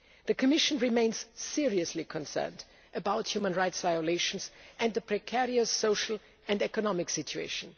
The Commission remains seriously concerned about human rights violations and the precarious social and economic situation.